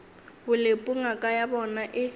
bolepu ngaka ya bona e